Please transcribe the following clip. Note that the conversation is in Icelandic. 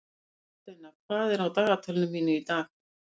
Þórsteina, hvað er á dagatalinu mínu í dag?